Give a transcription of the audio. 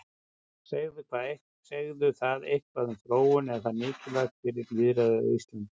Segir það eitthvað um þróun, er það mikilvægt fyrir lýðræðið á Íslandi?